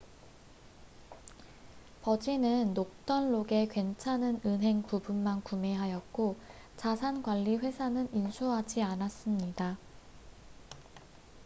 버진은 노던 록의 괜찮은 은행 부분만 구매하였고 자산관리회사는 인수하지 않았습니다